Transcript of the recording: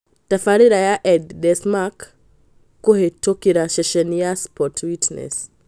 Tabarĩra ya El Desmarque kũhĩtokĩra ceceni ya Sport Witness